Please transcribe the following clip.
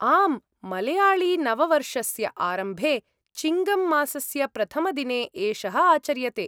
आम्, मलयाळीनववर्षस्य आरम्भे, चिङ्गम् मासस्य प्रथमदिने एषः आचर्यते।